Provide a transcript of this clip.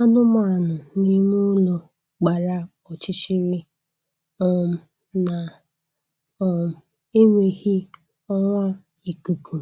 anụmanụ n'ime ụlọ gbara ọchịchịrị um na um enweghị ọwa ikuku